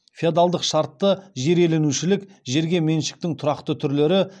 феодалдық шартты жер иеленушілік жерге меншіктің тұрақты түрлері